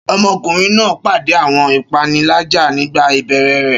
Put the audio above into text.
Ṣé ọmọkùnrin náà pàdé àwọn ìpèníjà nígbà ìbẹ̀rẹ̀ rẹ̀?